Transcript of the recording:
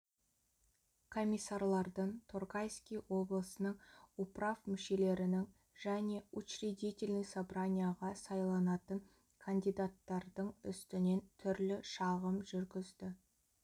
комиссарлардың торгайский облысының управ мүшелерінің және учредительный собранияға сайланатын кандидаттардың үстінен түрлі шағым жүргізді